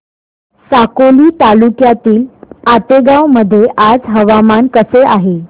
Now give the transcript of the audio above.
साकोली तालुक्यातील आतेगाव मध्ये आज हवामान कसे आहे